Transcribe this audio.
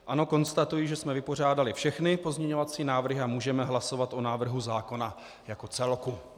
Ano, konstatuji, že jsme vypořádali všechny pozměňovací návrhy a můžeme hlasovat o návrhu zákona jako celku.